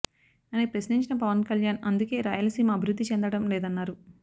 అని ప్రశ్నించిన పవన్ కళ్యాణ్ అందుకే రాయలసీమ అభివృద్ధి చెందడం లేదన్నారు